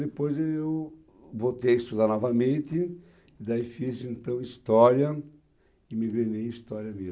Depois eu voltei a estudar novamente, daí fiz então história e me em história